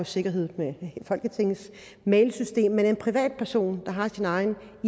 sikkerhed med folketingets mailsystem men en privatperson der har sin egen